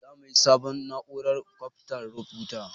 Za mu sayi sabon na'urar kwafan rubutu.